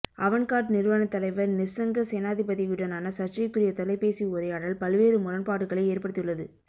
Avangard நிறுவனத் தலைவர் நிஸ்ஸங்க சேனாதிபதியுடனான சர்ச்சைக்குரிய தொலைபேசி உரையாடல் பல்வேறு முரண்பாடுகளை ஏற்படுத்தியுள்ளது